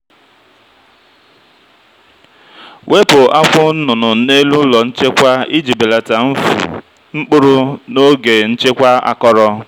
wepu akwụ nnụnụ n'elu ụlọ nchekwa iji belata mfu mkpụrụ n'oge nchekwa akọrọ.